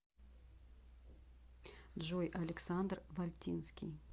джой александр вальтинский